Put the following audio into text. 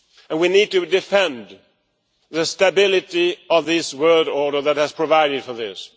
We need to defend the stability of this world order that has provided for this.